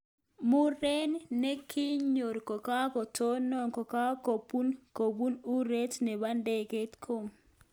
Muren nekinyor kakotonet kokakobut kopun orit nebo ndegeit kome.